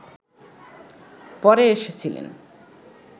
পরে এসেছিলেন